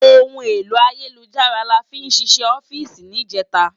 Óhún éló àyélújárà láfì ṣiṣè òfìsí nijètá